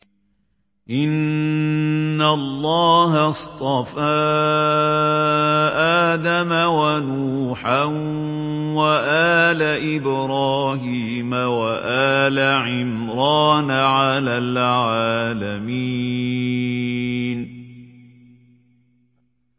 ۞ إِنَّ اللَّهَ اصْطَفَىٰ آدَمَ وَنُوحًا وَآلَ إِبْرَاهِيمَ وَآلَ عِمْرَانَ عَلَى الْعَالَمِينَ